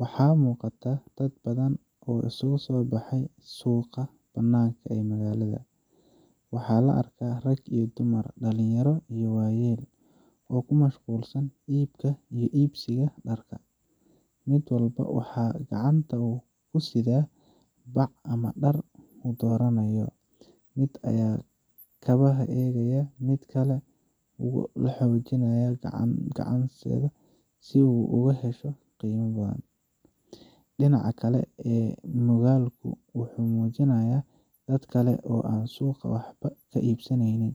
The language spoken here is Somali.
Waxaa muuqata dad badan oo isugu soo baxay suuqa banaaka ee magaalada. Waxaa la arkaa rag iyo dumar, dhalinyaro iyo waayeel, oo ku mashquulsan iibka iyo iibsiga dharka. Mid walba waxa uu gacanta ku sidaa bac ama dhar uu dooranayo. Mid ayaa kabaha eegaya, mid kale wuxuu la xaajoonayaa ganacsade si uu uga hesho qiimo yar. Dhinaca kale ee muuqaalku wuxuu muujinayaa dad kale oo aan suuqa waxba ka iibsaneyn,